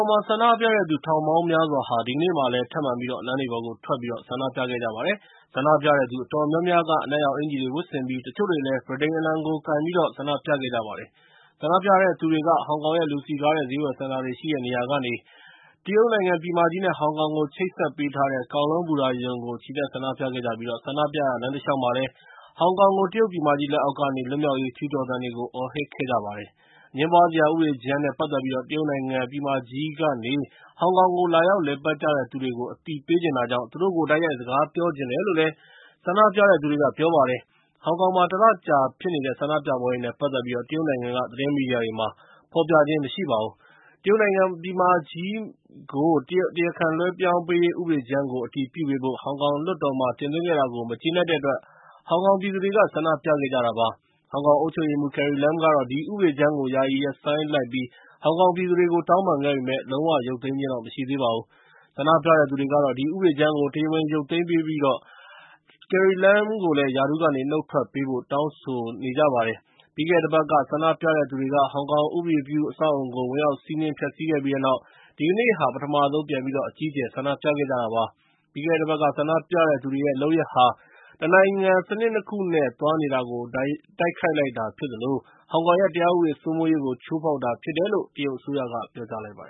င်မှာ ဆန္ဒပြတဲ့သူ ထောင်ပေါင်းများစွာဟာ ဒီကနေ့မှာလည်း ထပ်မံပြီးတော့ လမ်းတွေပေါ်ထွက်ဆန္ဒပြခဲ့ကြပါတယ်။ ဆန္ဒပြတဲ့သူအတော်များများက အနက်ရောင် အင်္ကျီတွေဝတ်ဆင်ပြီး ၊ တချို့တွေကလည်း ဗြိတိန်အလံကိုကိုင်ပြီး ဆန္ဒပြခဲ့ကြပါတယ်။ ဆန္ဒပြတဲ့သူတွေက ဟောင်ကောင်ရဲ့ လူစည်ကားတဲ့ ဈေးဝယ်စင်တာတွေရှိတဲ့နေရာကနေ တရုတ်နိုင်ငံ ပြည်မကြီး နဲ့ ဟောင်ကောင်ကို ချိတ်ဆက်ပေးထား တဲ့ Kowloon ဘူတာရုံကိုချီတက်ဆန္ဒပြခဲ့ကြပြီး၊ ဆန္ဒပြရာလမ်းတလျှောက်မှာလည်း ဟောင်ကောင်ကို တရုတ်ပြည်မကြီး လက်အောက်ကနေ လွတ်မြောက်ရေး ကြွေးကြော်သံတွေကို အော်ဟစ်ခဲ့ကြပါတယ်။ အငြင်းပွားစရာဥပဒေကြမ်းနဲ့ ပတ်သက်ပြီး တရုတ်နိုင်ငံပြည်မကြီးကနေ ဟောင်ကောင်ကိုလာရောက် လည်ပတ်ကြတဲ့သူတွေကို အသိပေးချင်တာကြောင့် သူတို့ကို တိုက်ရိုက်စကားပြောချင်တယ်လို့ ဆန္ဒပြတဲ့သူတွေကပြောပါတယ်။ ဟောင်ကောင်မှာ ၁ လကြာ ဖြစ်နေတဲ့ ဆန္ဒပြပွဲတွေနဲ့ ပတ်သက်ပြီး တရုတ်နိုင်ငံက သတင်းမီဒီယာတွေမှာ ဖော်ပြခြင်းမရှိပါဘူး။ တရုတ်နိုင်ငံပြည်မကြီးကို တရားခံလွှဲပြောင်းပေးရေး ဥပဒေကြမ်းကို အတည်ပြုပေးဖို့ ဟောင်ကောင်လွှတ်တော်မှာ တင်သွင်းခဲ့တာကို မကျေနပ်တဲ့အတွက် ဟောင်ကောင်ပြည်သူတွေက ဆန္ဒပြခဲ့ကြတာဖြစ်ပါတယ်။ ဟောင်ကောင်အုပ်ချုပ်ရေးမှူး Carrie Lam ကတော့ အဲဒီ ဥပဒေကြမ်းကို ယာယီရပ်ဆိုင်းလိုက်ပြီး ၊ ဟောင်ကောင်ပြည်သူတွေကို တောင်းပန်ခဲ့ပေမယ့်၊ လုံး၀ ရုပ်သိမ်းခြင်းတော့မရှိသေးပါဘူး။ ဆန္ဒပြတဲ့သူတွေတော့ ဒီဥပဒေကြမ်းကို တရားဝင်ရုပ်သိမ်ပြီး Carrie Lam ကိုလည် ရာထူးကနေ နုတ်ထွက်ပေးဖို့တောင်းဆိုနေကြတာပါ။ ပြီးခဲ့တဲ့ တပတ်က ဆန္ဒပြတဲ့သူတွေက ဟောင်ကောင်ဥပဒေပြုအဆောက်အအုံကို ဝင်ရောက်စီးနှင်း ဖျက်ဆီးခဲ့ပြီးတဲ့နောက် ဒီကနေ့ဟာ ပထမဆုံးပြန်ပြီးတော့ အကြီးအကျယ် ဆန္ဒပြခဲ့ကြတာဖြစ်ပါတယ်။ ပြီးခဲ့တဲ့တပတ်က ဆန္ဒပြတဲ့သူတွေရဲ့ လုပ်ရပ်ဟာ တနိုင်ငံ စနစ် ၂ ခု နဲ့ သွားနေတာကို တိုက်ရိုက်တိုက်ခိုက် တာဖြစ်သလို၊ ဟောင်ကောင်ရဲ့ တရားဥပဒေစိုးမိုးရေးကို ချိုးဖောက်တာ၊ တယ်လို့ တရုတ်အစိုးရကတော့ ပြောလိုက်ပါတ